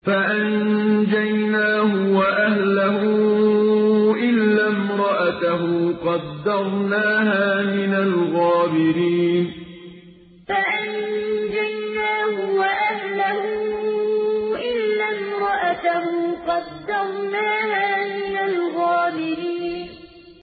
فَأَنجَيْنَاهُ وَأَهْلَهُ إِلَّا امْرَأَتَهُ قَدَّرْنَاهَا مِنَ الْغَابِرِينَ فَأَنجَيْنَاهُ وَأَهْلَهُ إِلَّا امْرَأَتَهُ قَدَّرْنَاهَا مِنَ الْغَابِرِينَ